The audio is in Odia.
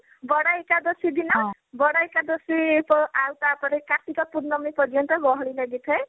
ବଡ ଏକାଦଶୀ ଦିନ ବଡ ଏକାଦଶୀ ଆ ତାପରେ କାର୍ତିକ ପୁର୍ଣିମି ପର୍ଯ୍ୟନ୍ତ ଗହଳି ଲାଗିଥାଏ